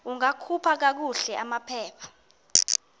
ungakhupha kakuhle amaphepha